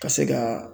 Ka se ka